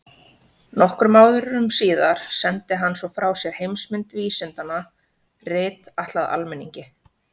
Nokkrum árum síðar sendi hann svo frá sér Heimsmynd vísindanna, rit ætlað almenningi.